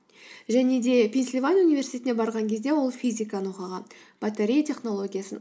және де пенсильвания университетіне барған кезде ол физиканы оқыған батарея технологиясын